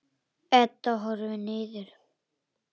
Edda horfir niður.